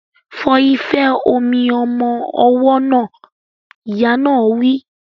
Fọ ife omi ọmọ ọwọ́ náà! Ìyá náà wí.